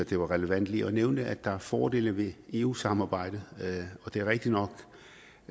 var relevant lige at nævne at der er fordele ved eu samarbejdet det er rigtigt nok